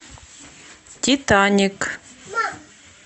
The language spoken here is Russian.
титаник